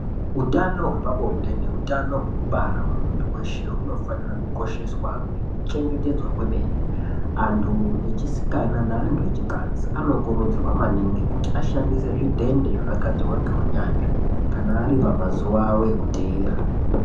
Utano hwepa bonde ne utano hweku bara hwe muntu weshe huno fanira kukosheswa ngeku chengetedzwa kwemene antu echisikana ne antu echikadzi anokurudzirwa maningi kuti ashandise zvidhende zvaka gadzirwa nge unyanzvi kana ari pamazuva avo eku teera.